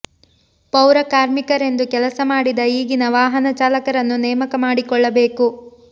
ಪೌರ ಕಾರ್ಮಿಕರೆಂದು ಕೆಲಸ ಮಾಡಿದ ಈಗಿನ ವಾಹನ ಚಾಲಕರನ್ನು ನೇಮಕ ಮಾಡಿಕೊಳ್ಳಬೇಕು